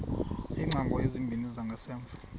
iingcango ezimbini zangasemva